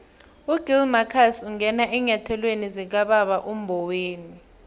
ugill marcus ungene eenyathelweni zikababa umboweni